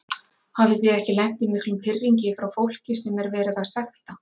Hafið þið ekki lent í miklum pirringi frá fólki sem er verið að sekta?